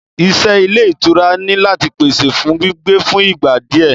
Ìṣe Ilé ìtura ni láti pèsè fún gbígbé fún ìgbà di ẹ.